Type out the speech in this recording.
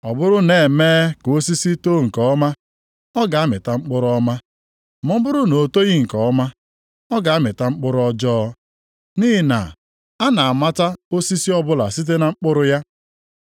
“Ọ bụrụ na e mee ka osisi too nke ọma, ọ ga-amịta mkpụrụ ọma, ma ọ bụrụ na o toghị nke ọma, ọ ga-amịta mkpụrụ ọjọọ. Nʼihi na a na-amata osisi ọbụla site na mkpụrụ ya.